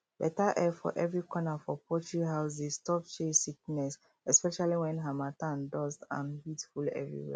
better air for every corner for poultry house dey stop chest sickness especially when harmattan dust and heat full everywhere